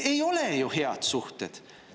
Ei ole ju head suhted.